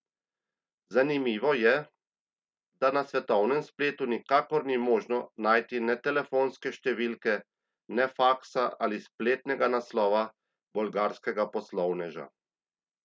Zanimivo je, da na svetovnem spletu nikakor ni možno najti ne telefonske številke ne faksa ali spletnega naslova bolgarskega poslovneža.